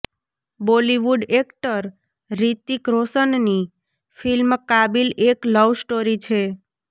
Bollywood actor Hrithik રોશનની film Kaabil એક love story છે